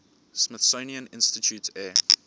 smithsonian institution air